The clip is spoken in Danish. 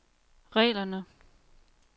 reglerne